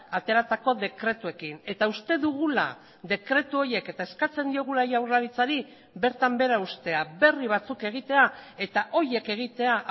ateratako dekretuekin eta uste dugula dekretu horiek eta eskatzen diogula jaurlaritzari bertan bera uztea berri batzuk egitea eta horiek egitea